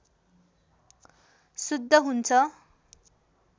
शुद्ध हुन्छ